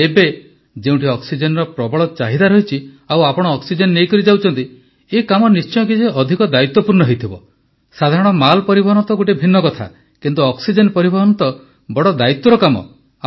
କିନ୍ତୁ ଏବେ ଯେଉଁଠି ଅକ୍ସିଜେନର ପ୍ରବଳ ଚାହିଦା ରହିଛି ଆଉ ଆପଣ ଅକ୍ସିଜେନ ନେଇକରି ଯାଉଛନ୍ତି ଏହି କାମ ନିଶ୍ଚୟ କିଛି ଅଧିକ ଦାୟିତ୍ୱପୂର୍ଣ୍ଣ ହେଇଥିବ ସାଧାରଣ ମାଲ ପରିବହନ ଗୋଟିଏ ଭିନ୍ନ କଥା କିନ୍ତୁ ଅକ୍ସିଜେନ ପରିବହନ ତ ବଡ଼ ଦାୟିତ୍ୱର କାମ